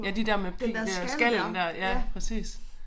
Ja de der med pig øh skallen der ja præcis